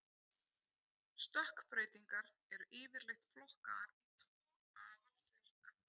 Stökkbreytingar eru yfirleitt flokkaðar í tvo aðalflokka.